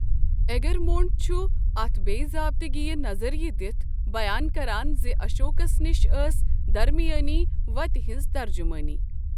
Egremont چھ اتھ بےٚ ضابطگی یہٕ نظریہ دِتھ بیان کران زِ اشوکس نِش ٲس درمیٲنی وتہ ہنٛز ترجمٲنی۔